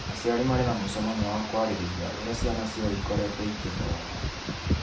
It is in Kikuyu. aciari marĩ na mũcemanio wa kwarĩrĩĩa urĩa ciana ciao ikorĩtwo igĩthoma.